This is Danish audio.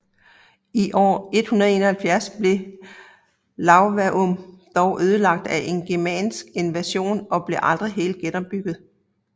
I år 171 blev Iuvavum dog ødelagt af en germansk invasion og blev aldrig helt genopbygget